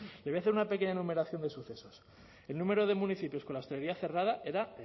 le voy a hacer una pequeña numeración de sucesos el número de municipios con la hostelería cerrada era